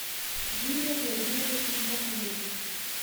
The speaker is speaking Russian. юрием владимировичем батуевым